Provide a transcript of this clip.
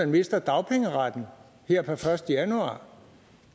mister dagpengeretten her per første januar